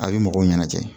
A bɛ mɔgɔw ɲɛnajɛ